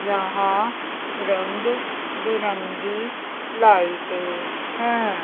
यहां रंग बिरंगी लाइटें हैं।